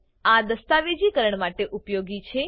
આ દસ્તાવેજીકરણ માટે ઉપયોગી છે